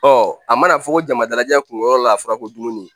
Ɔ a mana fɔ ko jama dalajɛ kun yɔrɔ la a fɔra ko dumuni